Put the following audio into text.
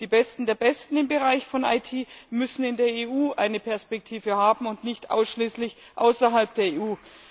Die Besten der Besten im IT Bereich müssen in der EU eine Perspektive haben und nicht ausschließlich außerhalb der EU.